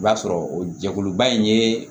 I b'a sɔrɔ o jɛkuluba in ye